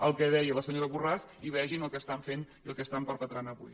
el que deia la senyora borràs i vegin el que estan fent i el que estan perpetrant avui